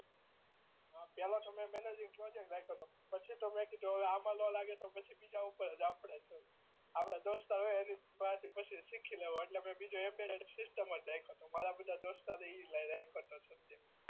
અ પેલો semester engineering project રાખ્યો તો પછી તો મેં કીધું કે હવે આમાં ના લાગે તો પછી બીજા ઉપર આપણે આપણા દોસ્તો પાહે શીખી લેહુ એટલે મેં બીજો એમ્બેરર સીસ્ટમ જ રાખ્યો તો મારા બધા દોસ્તારો એ ઈ રાખ્યો તો ત્યારે